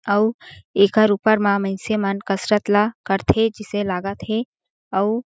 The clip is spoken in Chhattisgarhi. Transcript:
अउ एकर ऊपर मा मइनसे कसरत ला करथे जिसे लगत हे अउ--